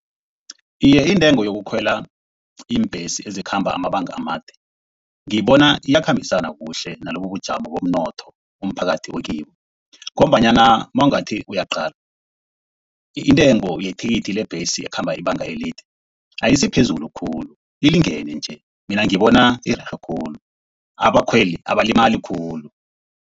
Iye intengo yokukhwela iimbhesi ezikhamba amabanga amade ngiyibona iyakhambisana kuhle nalobu ubujamo bomnotho umphakathi okibo. Ngombanyana nawungathi uyaqala, intengo yethikithi lebhesi ekhamba ibanga elide ayisiphezulu khulu ilingene nje. Mina ngibona irerhe khulu, abakhweli abalimali khulu.